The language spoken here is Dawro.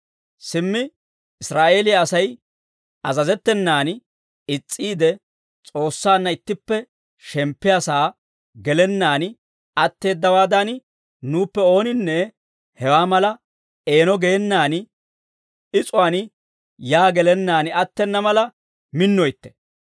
Simmi Israa'eeliyaa Asay azazettenan is's'iide, S'oossaanna ittippe shemppiyaa sa'aa gelennaan atteeddawaadan, nuuppe ooninne hewaa mala eeno geenan is'uwaan yaa gelennaan attena mala minnoytte.